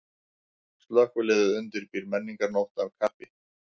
Slökkviliðið undirbýr menningarnótt af kappi